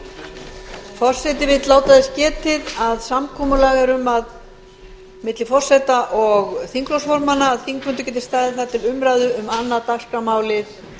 forseti vill láta þess getið að samkomulag er um milli forseta og þingflokksformanna að þingfundur geti staðið þar til umræðu um annað dagskrármálið